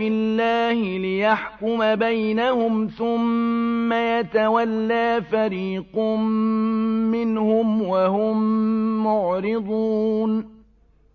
اللَّهِ لِيَحْكُمَ بَيْنَهُمْ ثُمَّ يَتَوَلَّىٰ فَرِيقٌ مِّنْهُمْ وَهُم مُّعْرِضُونَ